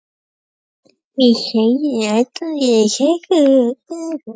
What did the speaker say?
Við sögðum þetta alvanalegt í samskiptum við ókunnugt fólk.